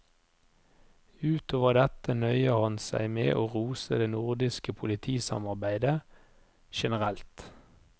Ut over dette nøyer han seg med å rose det nordiske politisamarbeidet generelt.